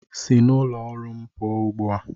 Si n'ụlọ ọrụ m pụọ ugbu a!